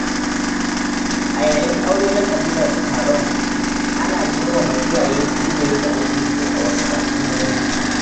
A yayin aure na ƙabilar Taron, ana girmama iyaye fiye da yadda ake yi a wasu al’ummomi.